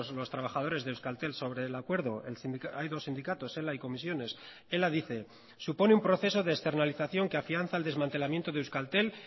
los trabajadores de euskaltel sobre el acuerdo hay dos sindicatos ela y comisiones ela dice supone un proceso de externalización que afianza el desmantelamiento de euskaltel